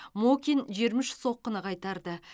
мокин жиырма үш соққыны қайтарды